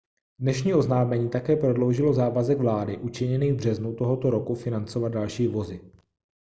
dnešní oznámení také prodloužilo závazek vlády učiněný v březnu tohoto roku financovat další vozy